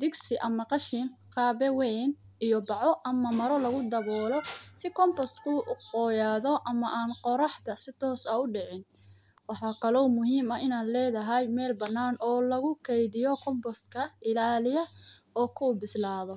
digsi ama qashiin, qaado weyn iyo baaco ama mara lagu dawoolo si kombostga u qoyadho ama an qoraxda si toos aah u daacin. Waxa kalo muhiim ah in ledahay meel banan oo laku keydiyo kombosta ilaliya oo kubisladho.